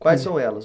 Quais são elas?